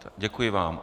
Děkuji vám.